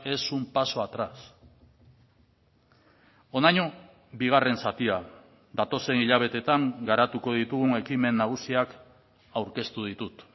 es un paso atrás honaino bigarren zatia datozen hilabeteetan garatuko ditugun ekimen nagusiak aurkeztu ditut